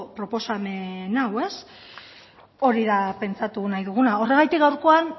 proposamen hau hori da pentsatu nahi duguna horregatik gaurkoan